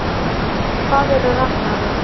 hvað eru ragnarök